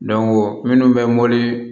minnu bɛ mɔbili